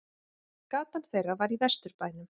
Gatan þeirra var í Vesturbænum.